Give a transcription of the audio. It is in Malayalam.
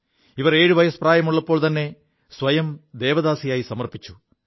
ഇവർ എഴു വയസ്സ് പ്രായമുള്ളപ്പോൾത്ത െസ്വയം ദേവദാസിയായി സമർപ്പിച്ചു